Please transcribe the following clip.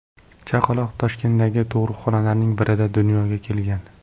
Chaqaloq Toshkentdagi tug‘ruqxonalarning birida dunyoga kelgan.